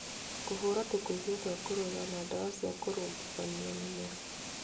Kũhũra tũkũbia twa kũruga na ndawa cia kũrugithania mĩmera.